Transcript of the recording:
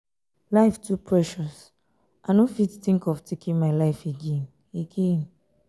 life too precious i no fit think of taking my life again. again.